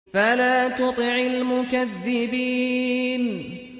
فَلَا تُطِعِ الْمُكَذِّبِينَ